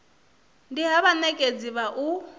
ndi ha vhanekedzi vha u